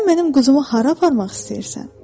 Sən mənim quzumu hara aparmaq istəyirsən?